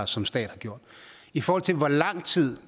som stat gjorde i forhold til hvor lang tid